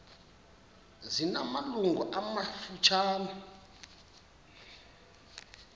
zina malungu amafutshane